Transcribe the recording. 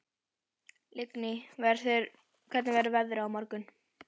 Lingný, hvernig verður veðrið á morgun?